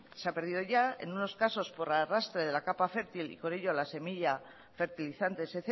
se ha perdido ya en unos casos por arrastre de la capa fértil y con ello la semilla fertilizantes